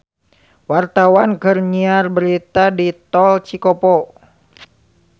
Wartawan keur nyiar berita di Tol Cikopo